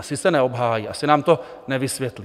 Asi se neobhájí, asi nám to nevysvětlí.